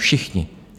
Všichni.